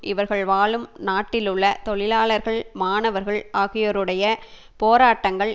இவர்கள் வாழும் நாட்டிலுள்ள தொழிலாளர்கள் மாணவர்கள் ஆகியோருடைய போராட்டங்கள்